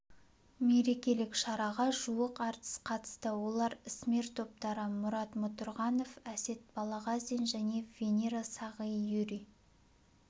мерекелік шараға жуық әртіс қатысты олар ісмер топтары мұрат мұртұрғанов әсет балғазин және венера сағи юрий